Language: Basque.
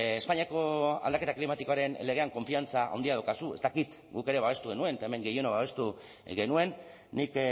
espainiako aldaketa klimatikoaren legean konfiantza handia daukazu ez dakit guk ere babestu genuen eta hemen gehienok babestu genuen nik